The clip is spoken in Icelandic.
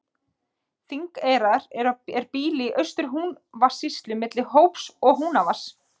Þingeyrar er býli í Austur-Húnavatnssýslu milli Hóps og Húnavatns.